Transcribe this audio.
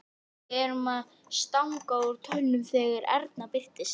Við erum að stanga úr tönnunum þegar Erna birtist.